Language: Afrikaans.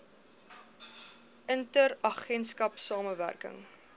inter agentskap samewerking